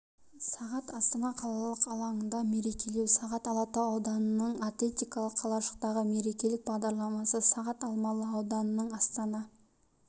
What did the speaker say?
сағат астана қалалық алаңында мерекелеу сағат алатау ауданының атлетикалық қалашықтағы мерекелік бағдарламасы сағат алмалы ауданының астана